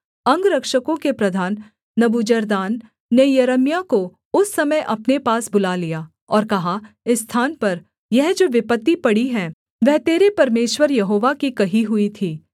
अंगरक्षकों के प्रधान नबूजरदान ने यिर्मयाह को उस समय अपने पास बुला लिया और कहा इस स्थान पर यह जो विपत्ति पड़ी है वह तेरे परमेश्वर यहोवा की कही हुई थी